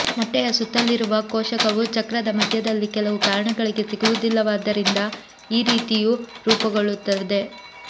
ಮೊಟ್ಟೆಯ ಸುತ್ತಲಿರುವ ಕೋಶಕವು ಚಕ್ರದ ಮಧ್ಯದಲ್ಲಿ ಕೆಲವು ಕಾರಣಗಳಿಗೆ ಸಿಗುವುದಿಲ್ಲವಾದ್ದರಿಂದ ಈ ರೀತಿಯು ರೂಪುಗೊಳ್ಳುತ್ತದೆ